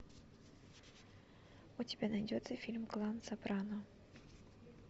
у тебя найдется фильм клан сопрано